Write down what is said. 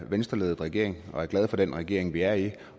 venstreledet regering og er glade for den regering vi er i vi